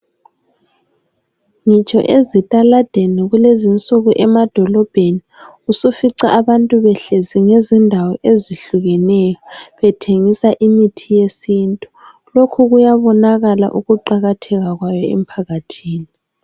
Ngitsho ezitaladeni kulezinsuku emadolobheni usifica abantu behlezi ngezindawo ezehlukeneyo bethengisa imithi yesintu. Lokhu kuyabonakala ukuqakatheka kwayo emphakathini.